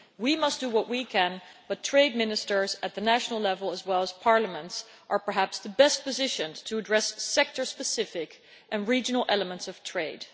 We must do what we can but trade ministers at the national level, as well as parliaments, are perhaps the best positioned to address sector specific and regional elements of trade.